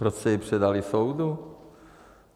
Proč jste ji předali soudu?